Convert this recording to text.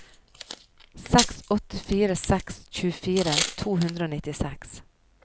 seks åtte fire seks tjuefire to hundre og nittiseks